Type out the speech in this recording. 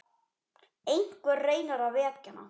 Einhver reynir að vekja hana.